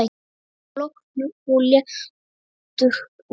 Logn og léttur úði.